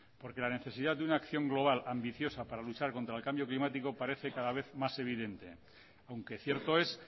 porque la necesidad de una acción global ambiciosa para luchar contra el cambio climático parece cada vez más evidente aunque cierto es